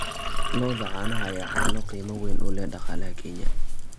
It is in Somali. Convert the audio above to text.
Lo'da caanaha ayaa caano qiimo weyn u leh dhaqaalaha Kenya.